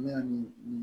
Ne